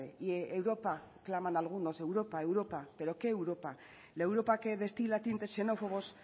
y europa claman algunos europa europa pero qué europa la europa que destila tintes xenófobos